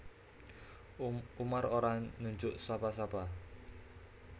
Umar ora nunjuk sapa sapa